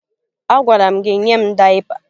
Agwara m gị nye m dayịpa!